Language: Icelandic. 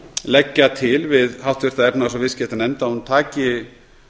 leggja til við háttvirta efnahags og viðskiptanefnd að hún taki